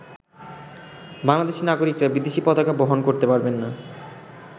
বাংলাদেশী নাগরিকরা বিদেশী পতাকা বহন করতে পারবেন না।